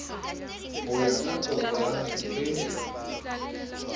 ho ya ka koporasi e